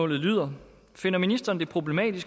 der